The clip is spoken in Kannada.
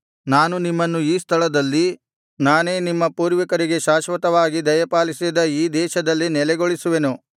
ನಾನು ನಿಮ್ಮನ್ನು ಈ ಸ್ಥಳದಲ್ಲಿ ನಾನೇ ನಿಮ್ಮ ಪೂರ್ವಿಕರಿಗೆ ಶಾಶ್ವತವಾಗಿ ದಯಪಾಲಿಸಿದ ಈ ದೇಶದಲ್ಲಿ ನೆಲೆಗೊಳಿಸುವೆನು